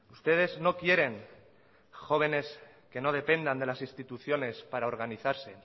ustedes no quieren jóvenes que no dependan de las instituciones para organizarse